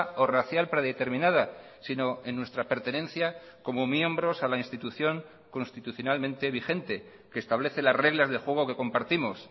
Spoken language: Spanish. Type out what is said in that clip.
o racial predeterminada sino en nuestra pertenencia como miembros a la institución constitucionalmente vigente que establece las reglas de juego que compartimos